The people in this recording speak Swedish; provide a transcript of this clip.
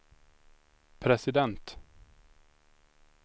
president